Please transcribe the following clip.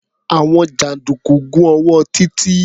Àwọn jàǹdùkú gún ọwọ́ Títí.